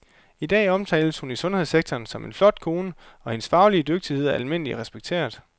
I dag omtales hun i sundhedssektoren som en flot kone, og hendes faglige dygtighed er almindeligt respekteret.